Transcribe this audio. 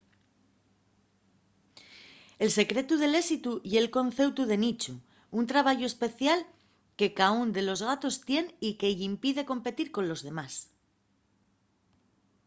el secretu del éxitu ye’l conceutu de nichu un trabayu especial que caún de los gatos tien y que-y impide competir colos demás